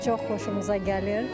Çox xoşumuza gəlir.